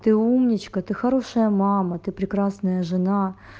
ты умничка ты хорошая мама ты прекрасная жена